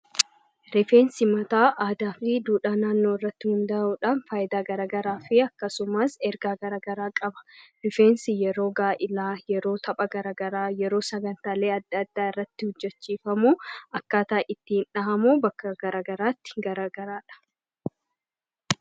Rifeensi mataa aadaafi duudhaa naannoorratti hundaa'uudhaan fayidaa garagaraa fi akkasumas ergaa garagaraa qaba. Rifeensi yeroo gaa'ilaa yeroo tapha garagaraa yeroo sagantaalee adda addaa irratti hojjachiifamu, akkaataa ittiin dhahamu, bakka garagaraatti garagaradha.